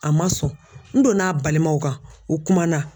A ma sɔn n donna a balimaw kan u kumana.